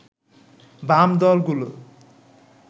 বাম দলগুলো